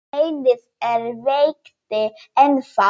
Beinið er veikt ennþá.